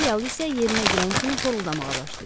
İtalyalı isə yerinə girən kimi xoruldağa başlayıb.